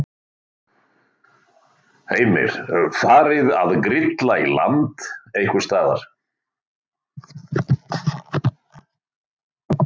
Heimir: Farið að grilla í land einhvers staðar?